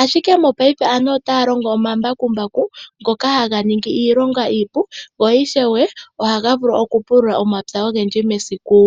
ashike mopaife aantu otaya longo omambakumbaku ngoka haga ningi iilonga iipu gwo ishewe ohaga vulu okupulula omapya ogendji mesiku.